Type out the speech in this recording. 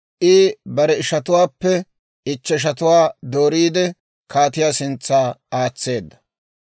I bare ishatuwaappe ichcheshatuwaa dooriide kaatiyaa sintsa aatseedda.